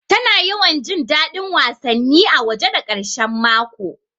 Tana yawan jin daɗin wasanni a waje da ƙarshe mako